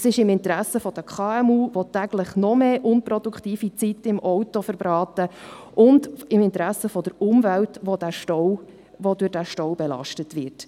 Es ist im Interesse der KMU, die täglich noch mehr unproduktive Zeit im Auto verbraten, und im Interesse der Umwelt, die durch den Stau belastet wird.